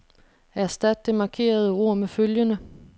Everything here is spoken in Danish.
Erstat det markerede ord med følgende.